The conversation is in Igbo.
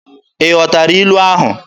Ị ghọtara ilu ahụ?